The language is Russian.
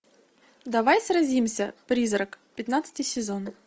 давай сразимся призрак пятнадцатый сезон